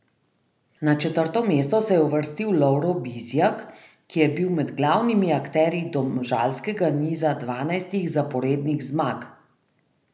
Na četrto mesto se je uvrstil Lovro Bizjak, ki je bil med glavnimi akterji domžalskega niza dvanajstih zaporednih zmag.